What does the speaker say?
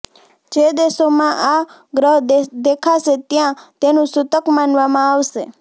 જે દેશોમાં આ ગ્રહ દેખાશે ત્યાં તેનું સુતક માનવામાં આવશે